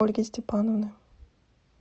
ольги степановны